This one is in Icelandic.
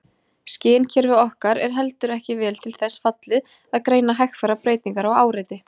Skynkerfi okkar er heldur ekki vel til þess fallið að greina hægfara breytingar á áreiti.